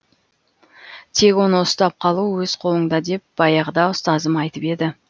тек оны ұстап қалу өз қолыңда деп баяғыда ұстазым айтып еді